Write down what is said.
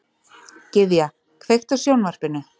Gyðja, kveiktu á sjónvarpinu.